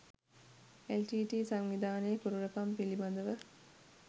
LTTE. සංවිධානයේ කුරිරුකම පිළිබඳව